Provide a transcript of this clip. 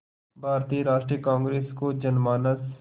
भारतीय राष्ट्रीय कांग्रेस को जनमानस